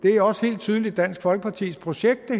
er også helt tydeligt dansk folkepartis projekt